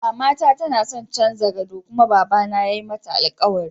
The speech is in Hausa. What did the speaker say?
Mamata tanadon canza gado ta kuma baba na ya mata alkawari.